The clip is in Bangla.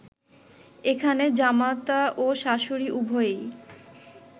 এখানে জামাতা ও শাশুড়ী উভয়েই